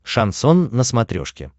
шансон на смотрешке